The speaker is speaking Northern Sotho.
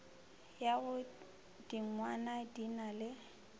ya godingwana di na le